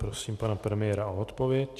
Prosím pana premiéra o odpověď.